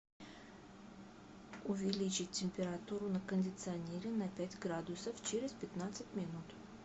увеличить температуру на кондиционере на пять градусов через пятнадцать минут